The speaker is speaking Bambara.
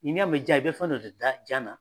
N'i y'a mɛn jan, i bɛ fɛn dɔ de da jan na.